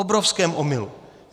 Obrovském omylu.